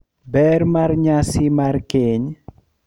Ber mar nyasi mar keny